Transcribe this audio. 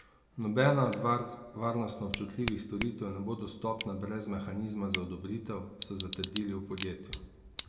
Nobena od varnostno občutljivih storitev ne bo dostopna brez mehanizma za odobritev, so zatrdili v podjetju.